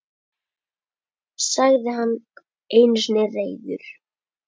sagði hann einu sinni reiður.